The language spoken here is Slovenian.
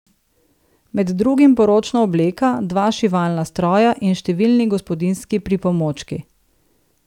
Med drugim poročna obleka, dva šivalna stroja in številni gospodinjski pripomočki.